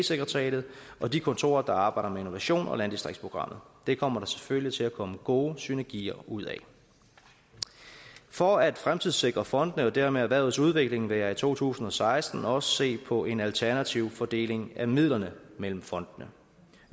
sekretariatet og de kontorer der arbejder med innovation og landdistriktsprogrammet det kommer der selvfølgelig til at komme gode synergier ud af for at fremtidssikre fondene og dermed erhvervets udvikling vil jeg i to tusind og seksten også se på en alternativ fordeling af midlerne mellem fondene